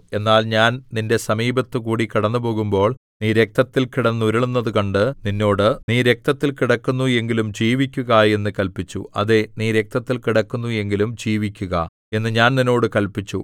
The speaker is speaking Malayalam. എന്നാൽ ഞാൻ നിന്റെ സമീപത്ത് കൂടി കടന്നുപോകുമ്പോൾ നീ രക്തത്തിൽ കിടന്നുരുളുന്നതു കണ്ട് നിന്നോട് നീ രക്തത്തിൽ കിടക്കുന്നു എങ്കിലും ജീവിക്കുക എന്ന് കല്പിച്ചു അതേ നീ രക്തത്തിൽ കിടക്കുന്നു എങ്കിലും ജീവിക്കുക എന്ന് ഞാൻ നിന്നോട് കല്പിച്ചു